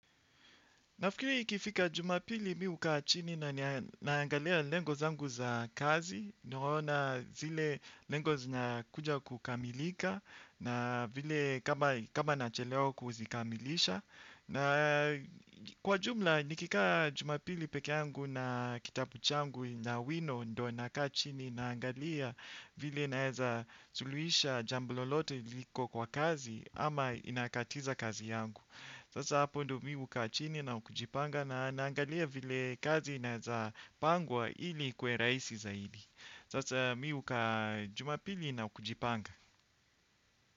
Nafikiri ikifika jumapili mi hukaa chini na naangalia lengo zangu za kazi. Nimeona zile lengo zina kuja kukamilika na vile kama nachelewa kuzikamilisha. Na kwa jumla nikikaa jumapili peke yangu na kitabu changu na wino ndo nakaa chini naangalia vile naeza suluisha jambo lolote liko kwa kazi ama inakatiza kazi yangu. Sasa hapo ndo mi hukaa chini na kujipanga na naangalia vile kazi inaeza pangwa hili ikuwe raisi za hili. Sasa miu kajumapili na ukujipanga.